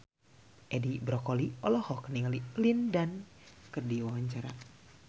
Edi Brokoli olohok ningali Lin Dan keur diwawancara